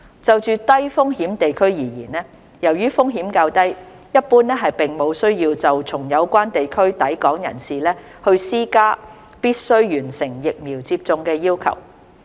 就低風險地區而言，由於風險較低，一般並無需要對從有關地區抵港人士施加必須完成疫苗接種的要求。